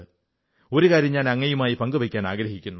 ഒരു കാര്യം ഞാൻ അങ്ങയുമായി പങ്കുവയ്ക്കാനാഗ്രഹിക്കുന്നു